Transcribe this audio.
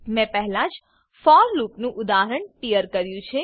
મેં પહેલા જ ફોર લૂપનું ઉદાહરણ ટીયર કર્યું છે